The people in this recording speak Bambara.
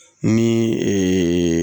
Ni